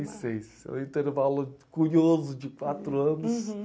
E seis. É um intervalo curioso de quatro anos.